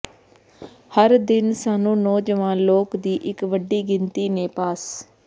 ਹਰ ਦਿਨ ਸਾਨੂੰ ਨੌਜਵਾਨ ਲੋਕ ਦੀ ਇੱਕ ਵੱਡੀ ਗਿਣਤੀ ਨੇ ਪਾਸ